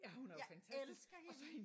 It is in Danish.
Jeg elsker hende!